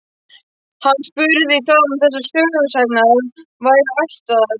Hann spurði hvaðan þessar sögusagnir væru ættaðar.